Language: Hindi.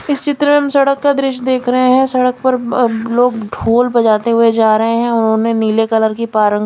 इस चित्र में हम सड़क का दृश्य देख रहे हैं सड़क पर अ लोग ढोल बजाते हुए जा रहे हैं उन्होंने नीले कलर की पारंग--